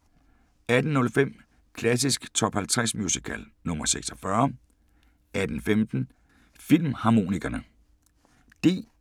18:05: Klassisk Top 50 Musical -nr. 46 18:15: Filmharmonikerne